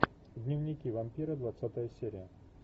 дневники вампира двадцатая серия